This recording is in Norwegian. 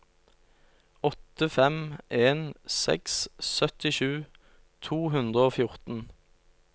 åtte fem en seks syttisju to hundre og fjorten